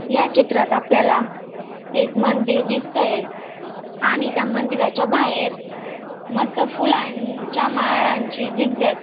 या चित्रात आपल्याला एक मंदिर दिसतंय आणि त्या मंदिराच्या बाहेर मस्त फुलांच्या माळांची झिगझॅग --